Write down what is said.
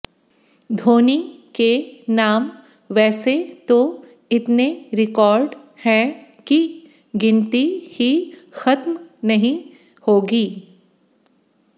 धोनी के नाम वैसे तो इतने रिकॉर्ड हैं कि गिनती ही खत्म नहीं होगी